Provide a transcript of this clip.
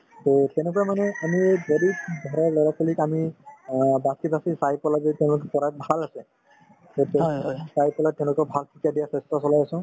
to সেনেকৈ মানে আমি এই গৰীৱ মানুহৰ ল'ৰা-ছোৱালীক আমি অ বাচি বাচি চাই পেলাই যদি তেওঁলোকে যদি পঢ়াত ভাল আছে তেতিয়া চাই পেলাই তেওঁলোকক ভাল শিক্ষা দিয়াৰ চেষ্টা চলাই আছো